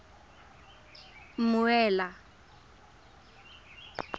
mmuela